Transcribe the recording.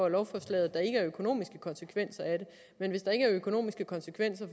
af lovforslaget at der ikke er økonomiske konsekvenser af det men hvis der ikke er økonomiske konsekvenser